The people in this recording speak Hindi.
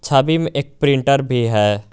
एक प्रिंटर भी है।